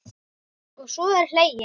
Og svo er hlegið.